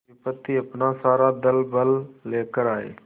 विपत्ति अपना सारा दलबल लेकर आए